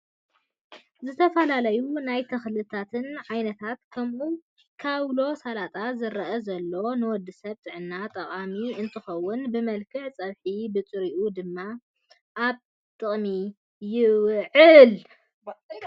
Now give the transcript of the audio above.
ዝተፈላለዩ ናይ ተክልታት ዓይነት ከም ካውሎ ሳላጣ ዝረአ ዘሎ ንወዲሰብ ጥዕና ጠቃምቲ እንትኮኑ ብመልክዕ ፀብሕን ብጥሪኡን ድማ ኣብ ትቅሚ ይውዕል።